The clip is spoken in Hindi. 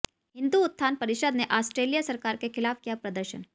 हिन्दू उत्थान परिषद ने आस्ट्रेलिया सरकार के खिलाफ किया प्रदर्शन